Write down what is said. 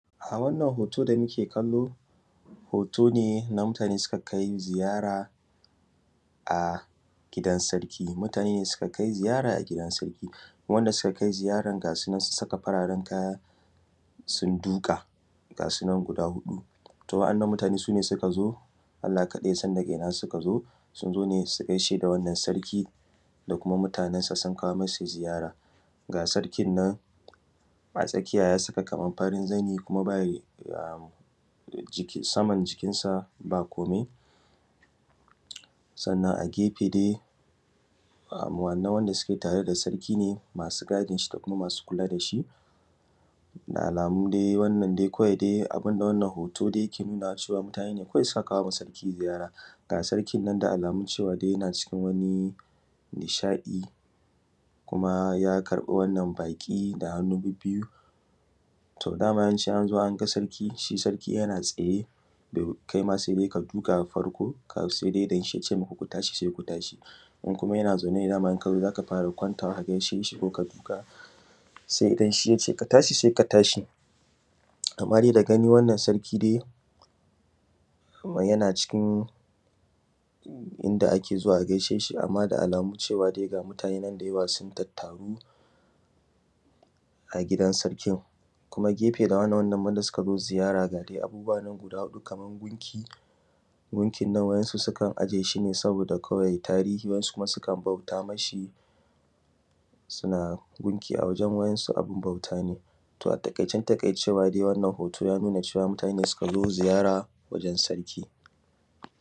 A wannan hoto da muke kallo hoto ne na mutane da suka kai ziyara a gidan sarki. wanda sukakai ziyara ga sunan sun saka fararen kaya sun duƙa ga sunan guda huɗu, to wa’annan mutane sune sukazo Allah kaɗai yasan daga inna suka sukazo sunzo ne su gaisheda wannan sarki da kuma mutanen sa sun kawo masa ziyara. Ga sarki nan a tsakiya yasaka Kaman farin zani bayida jiki saman jikin sa ba komai sannan a gefe dai wannan wanda asuke tare da sarki masu gadinshi da alamu dai wannan dai kawai dai abune wanda wannan hoto yake nunawa mutane ne suka kawoma sarki ziyara, ga sarkin nan da almu cewa yana cikin nishaɗi kuma ya karɓi wannan baƙi da hannu bibbiyu. To dama shi in anzo anga sarki shi sarki yana tsaye kaima saidai ka duƙa farkosaidai inshi yace ka tashi sai ka tashi, in kuma yana zaune kai saidai ka kwanta sai inshi yace ka tashi sai ka tashi. Amma dai da gani wannan sarki dai Kaman yana cikin wanda ake zuwa gaisheshi amma dai da alamu cewa dai ga mutanen sun tattaru a gidan sarkin kuma gefe ga yinan wanda sukazo ziyara da Kaman gunki, gunkin nan wasu sukan ajeshine wasu kkuma sukan bauta mashi suna gunki a wajen waɗansu abun bauta ne. to a taƙaicen taƙaicewa yanuna cewa dai mutane ne sukazo ziyara gurin sarki.